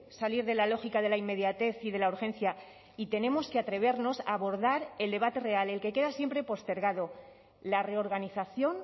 salir de la lógica de la inmediatez y de la urgencia y tenemos que atrevernos a abordar el debate real el que queda siempre postergado la reorganización